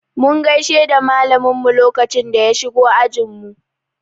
Mun gaishe da malamin mu lokacin da ya shigo ajin mu.